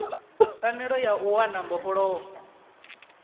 pfanelo ya u wana mbofholowo